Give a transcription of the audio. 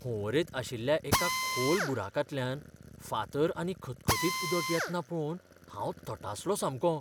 होंवरेंत आशिल्ल्या एका खोल बुराकांतल्यान फातर आनी खतखतीत उदक येतना पळोवन हांव तटासलों सामकों.